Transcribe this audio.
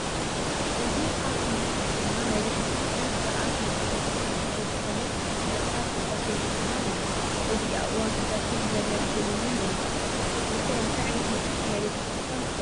እዚ ካብ እምነት ክርስትና ናይ ቤተ ክርስትያን ስርዓተ መፅሓፈቲ ሓደ ዝኾነ መፅሓፈ ቅዳሴ ዝባሃል እዩ፡፡ ኣብ እዋን ቅዳሴ ዘገልግል ውን እዩ፡፡ ንስኹም ከ እንታይ ዓይነት መፅሓፍ ናይ ቤተ ክርስትያ ትፈልጡ?